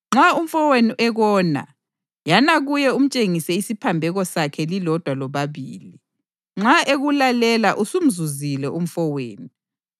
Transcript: “Nxa umfowenu ekona, yana kuye umtshengise isiphambeko sakhe lilodwa lobabili. Nxa ekulalela usumzuzile umfowenu.